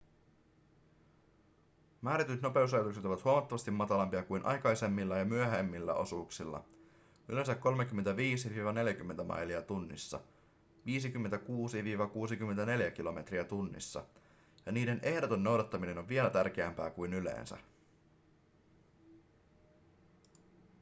määrätyt nopeusrajoitukset ovat huomattavasti matalampia kuin aikaisemmilla ja myöhemmillä osuuksilla – yleensä 35–40 mailia tunnissa 56–64 kilometriä tunnissa – ja niiden ehdoton noudattaminen on vielä tärkeämpää kuin yleensä